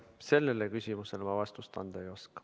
Sellele küsimusele ma vastust anda ei oska.